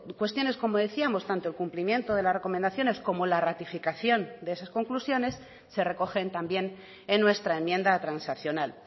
cuestiones como decíamos tanto el cumplimiento de las recomendaciones como la ratificación de esas conclusiones se recogen también en nuestra enmienda transaccional